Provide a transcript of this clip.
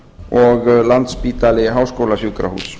og landspítali háskólasjúkrahús